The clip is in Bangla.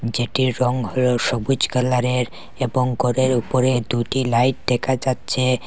যেটির রং হল সবুজ কালারের এবং ঘরের উপরে দুটি লাইট দেখা যাচ্ছে।